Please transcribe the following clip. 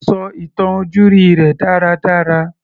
Kò sọ ìtàn ojúrí rẹ̀ dára dára.